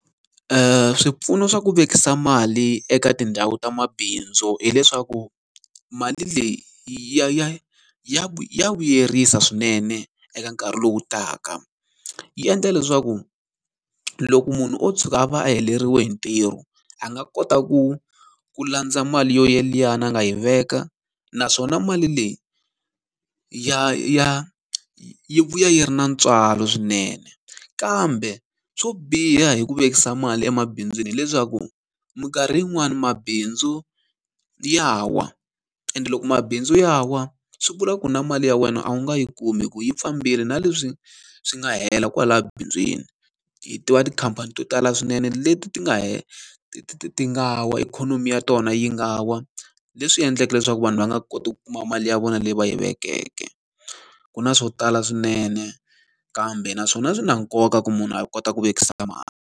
Swipfuno swa ku vekisa mali eka tindhawu ta mabindzu hileswaku, mali leyi ya ya ya vuyerisa swinene eka nkarhi lowu taka. Yi endla leswaku loko munhu o tshuka a va a heleriwe hi ntirho, a nga kota ku ku landza mali yoyeliyani a nga yi veka. Naswona mali leyi ya ya yi vuya yi ri na ntswalo swinene. Kambe swo biha hi ku vekisa mali emabindzwini hileswaku, minkarhi yin'wani mabindzu ya wa. Ende loko mabindzu ya wa, swi vula ku na mali ya wena a wu nga yi kumi hikuva yi fambile na leswi swi nga hela kwalaya bindzwini. Hi tiva tikhamphani to tala swinene leti ti nga ti ti ti nga wa, ikhonomi ya tona yi nga wa leswi endlake leswaku vanhu va nga koti ku kuma mali ya vona leyi va yi vekeke. Ku na swo tala swinene, kambe na swona swi na nkoka ku munhu a kota ku vekisa mali.